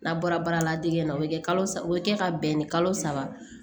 N'a bɔra baara la degel o bɛ kɛ kalo saba o bɛ kɛ ka bɛn ni kalo saba